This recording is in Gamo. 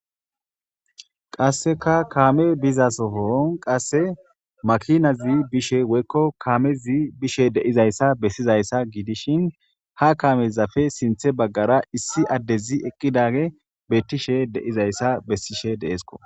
qasseka kaame bizasofoon qasse makinazi bishe woykko kaamezi bishe deizayssa bessizayssa giidishin ha kaamezafe sinthe baggara issi addezi eqqidage beettishe deizayssa bessishe deesko